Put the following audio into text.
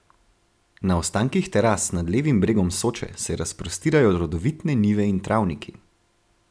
Na ostankih teras nad levim bregom Soče se razprostirajo rodovitne njive in travniki.